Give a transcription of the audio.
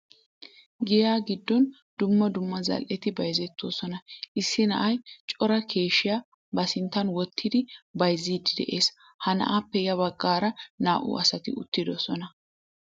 Giyaa giddon dumma dumma zal'eti bayzettoosona. Issi na'ay cora keeshiya ba sinttan wottidi bayzziiddi de'ees. Ha na'aappe ya baggaara naa"u asati uttidosona.